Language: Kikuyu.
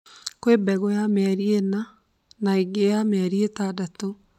Kwĩ mbegũ ya mĩeri ĩna na ĩngĩ ya mĩeri itandatũ